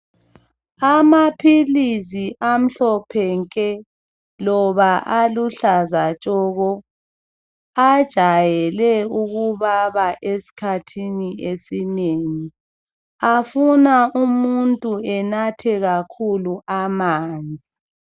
Amaphilisi amhlophe nke loba aluhlaza tshoko ajayele ukubaba kakhulu esikhathini esinengi afuna umuntu anathe amanzi.